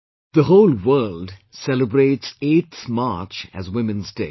The whole world celebrates 8th March as Women's Day